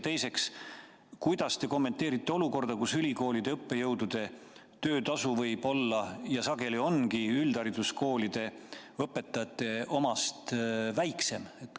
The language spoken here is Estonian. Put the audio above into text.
Teiseks, kuidas te kommenteerite olukorda, kus ülikoolide õppejõudude töötasu võib olla ja sageli ongi üldhariduskoolide õpetajate omast väiksem?